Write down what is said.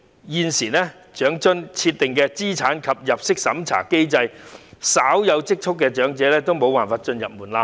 現時，長津設定的資產及入息審查機制令稍有積蓄的長者未能通過門檻。